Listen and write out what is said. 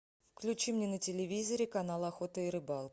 включи мне на телевизоре канал охота и рыбалка